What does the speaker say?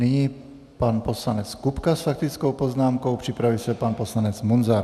Nyní pan poslanec Kupka s faktickou poznámkou, připraví se pan poslanec Munzar.